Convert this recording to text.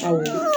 Awɔ